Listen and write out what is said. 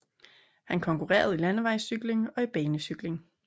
Han konkurrerede i landevejscykling og i banecykling